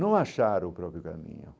Não achar o próprio caminho.